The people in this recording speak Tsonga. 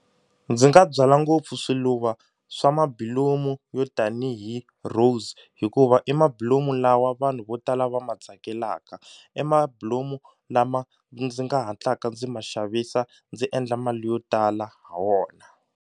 Ndzi nga byala ngopfu swiluva swa mabilomu yo tanihi rose hikuva i mabulomu lawa vanhu vo tala va ma tsakelaka i mabilomu lama ndzi nga hatlaka ndzi ma xavisa ndzi endla mali yo tala ha wona.